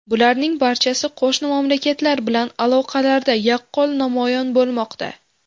Bularning barchasi qo‘shni mamlakatlar bilan aloqalarda yaqqol namoyon bo‘lmoqda.